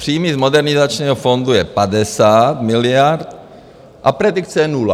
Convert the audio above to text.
Příjmy z Modernizačního fondu jsou 50 miliard a predikce je nula.